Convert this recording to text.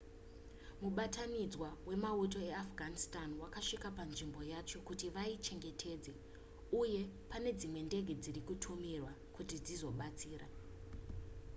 mubatanidzwa wemauto eafghanistan wasvika panzvimbo yacho kuti vaichengetedze uye pane dzimwe ndege dziri kutumirwa kuti dzizobatsira